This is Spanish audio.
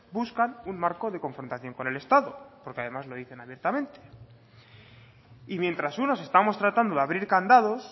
buscan un marco de confrontación con el estado porque además lo dicen abiertamente y mientras unos estamos tratando de abrir candados